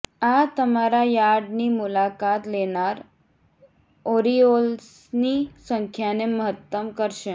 આ તમારા યાર્ડની મુલાકાત લેનાર ઓરિઓલ્સની સંખ્યાને મહત્તમ કરશે